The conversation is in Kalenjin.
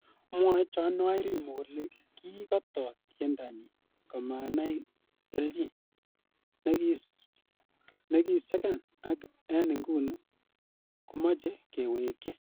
Mwoe Joan Wairumi kole kiikoto tiendanyin komanai kelyin nesigen ak en inguni komoche kewekyi.